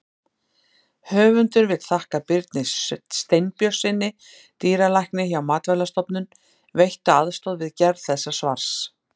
Höfundur vill þakka Birni Steinbjörnssyni, dýralækni hjá Matvælastofnun, veitta aðstoð við gerð þessa svars.